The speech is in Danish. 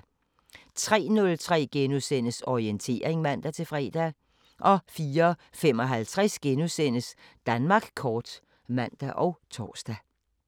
03:03: Orientering *(man-fre) 04:55: Danmark kort *(man og tor)